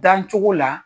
Dan cogo la